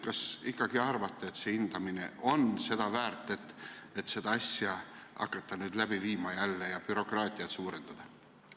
Kas te ikkagi arvate, et hindamine on seda väärt, et hakata seda asja jälle läbi viima ja bürokraatiat suurendada?